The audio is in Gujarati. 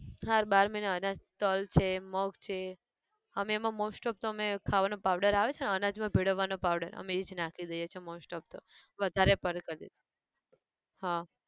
હારું બાર મહિના અનાજ તલ છે મગ છે, અમે એમાં most of તો અમે, ખાવાનો powder આવે છે ને અનાજ માં ભીડવવાનો powder અમે ઈજ નાખી દઈએ છે most of તો વધારે પર કદી હા